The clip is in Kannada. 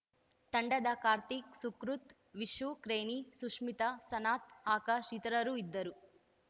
ತಂಡದ ಕಾರ್ತಿಕ್‌ ಸುಕೃತ್‌ ವಿಷು ಕ್ರೇನಿ ಸುಷ್ಮಿತಾ ಸನತ್‌ ಆಕಾಶ್‌ ಇತರರು ಇದ್ದರು